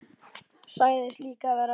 Sagðist líka vera að bíða.